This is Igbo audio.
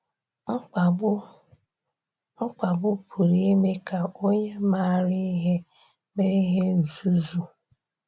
“Mkpagbu “Mkpagbu pụrụ ime ka onye maara ihe mee ihe nzuzu.”